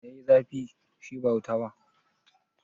Mai ya yi zafi, shi ba wuta ba?